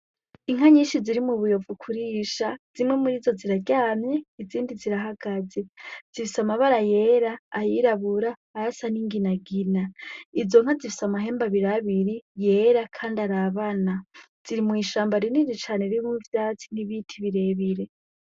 Inka nyinshi ziri mu buyovu ukurisha zimwe muri zo ziraryamye izindi zirahagaze zifise amabara yera ayirabura arasa n'inginagina izo nko zifise amahembe abirabiri yera, kandi arabana ziri mw'ishamba rinini cane ririmwo ivyasti nibiti birebire.